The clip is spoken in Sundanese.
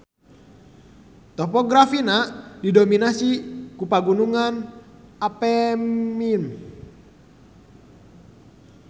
Topografina didominasi ku Pagunungan Apennine.